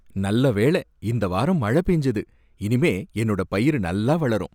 நல்ல வேளை இந்த வாரம் மழை பெஞ்சது, இனிமே என்னோட பயிரு நல்லா வளரும்.